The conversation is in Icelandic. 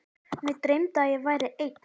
Mig dreymdi að ég væri einn.